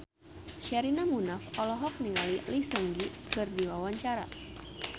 Sherina Munaf olohok ningali Lee Seung Gi keur diwawancara